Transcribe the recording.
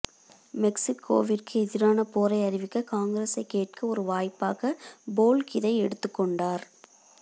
மெக்ஸிக்கோவிற்கு எதிரான போரை அறிவிக்க காங்கிரஸைக் கேட்க ஒரு வாய்ப்பாக போல்க் இதை எடுத்துக் கொண்டார்